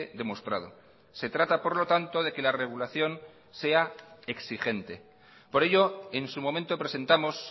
demostrado se trata por lo tanto de que la regulación sea exigente por ello en su momento presentamos